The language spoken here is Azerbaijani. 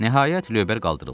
Nəhayət lövbər qaldırıldı.